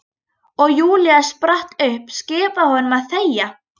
Og Júlía spratt upp, skipaði honum að þegja.